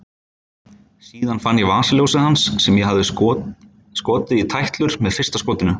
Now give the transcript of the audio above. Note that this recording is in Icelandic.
Síðan fann ég vasaljósið hans sem ég hafði skotið í tætlur með fyrsta skotinu.